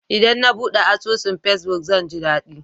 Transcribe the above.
Idan na buɗe asusun fesbuk, zan ji daɗi.